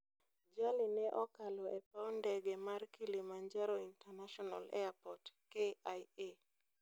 Jali ne okalo e paw ndege mar Kilimanjaro International Airport (KIA).